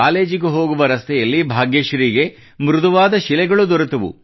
ಕಾಲೇಜಿಗೆ ಹೋಗುವ ರಸ್ತೆಯಲ್ಲಿ ಭಾಗ್ಯಶ್ರೀಗೆ ಮೃದುವಾದ ಶಿಲೆಗಳು ದೊರೆತವು